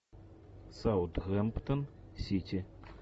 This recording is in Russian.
саутгемптон сити